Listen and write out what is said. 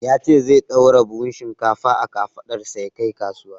Ya ce zai ɗaura buhun shinkfa a kafaɗarsa ya kai kasuwa.